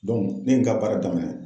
ne ye n ka baara daminɛ.